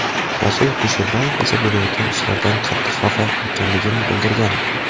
Rasul Kusherbayev esa bo‘layotgan ishlardan qattiq xafa ekanligini bildirgandi.